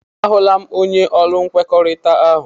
A hụla m, onye ọrụ nkwekọrịta ahụ.